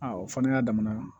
o fa n'a damana